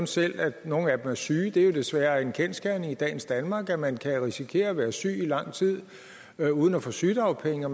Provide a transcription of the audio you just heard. selv at nogle af dem er syge det er desværre en kendsgerning i dagens danmark at man kan risikere at være syg i lang tid uden at få sygedagpenge og